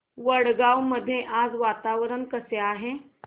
वडगाव मध्ये आज वातावरण कसे आहे